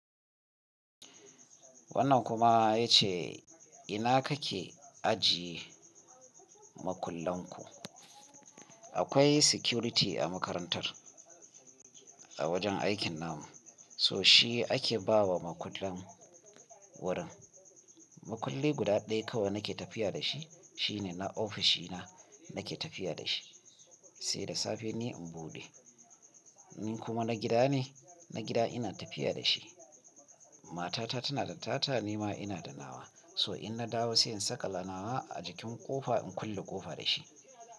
Wannan kuma ya ce ina kake ajiye makullan ku? Akwai security a makarantar, a wajen aikin namu, so shi ake bawa makullan wurin. Makulli guda ɗaya kawai nake tafiya da shi, shine na ofishi na nake tafiya da shi, sai da safe ne in buɗe. Ni kuma na gida ne, na gida ina tafiya da shi. Matata tana da tata ni ma ina da nawa, so in na dawo sai in saka la nawa a jikin ƙofa in kulle ƙofa da shi.